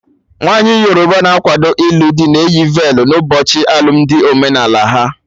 Nwaanyi Yoruba na-akwado ilu dị na eyi velu n'ụbọchị alụmdi omenala ha